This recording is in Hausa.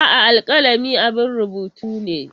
A'a, alkalami abun rubutu ne.